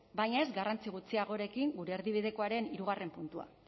baina ez garrantzi gutxiagorekin gure erdibidekoaren hirugarren puntua